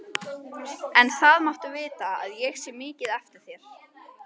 En það máttu vita að ég sé mikið eftir þér.